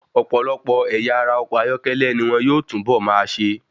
Ọ̀pọ̀lọpọ̀ ẹ̀yà ara ọkọ̀ ayọ́kẹ́lẹ́ ni wón yóò túnbọ̀ máa ṣe.